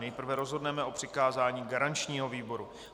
Nejprve rozhodneme o přikázání garančnímu výboru.